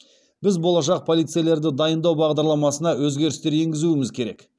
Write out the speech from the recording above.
біз болашақ полицейлерді дайындау бағдарламасына өзгерістер енгізуіміз керек